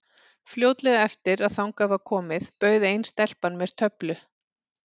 Fljótlega eftir að þangað var komið bauð ein stelpan mér töflu.